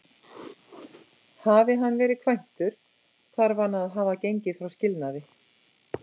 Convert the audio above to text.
Hafi hann verið kvæntur, þarf hann að hafa gengið frá skilnaði.